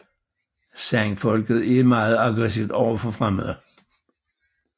Sandfolket er meget aggressivt overfor fremmede